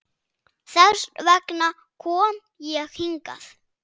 Þess vegna kom ég hingað.